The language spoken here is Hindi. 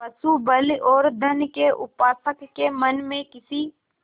पशुबल और धन के उपासक के मन में किसी